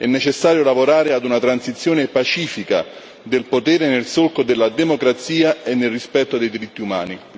È necessario lavorare ad una transizione pacifica del potere nel solco della democrazia e nel rispetto dei diritti umani.